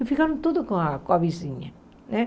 E ficaram tudo com a com a vizinha, né?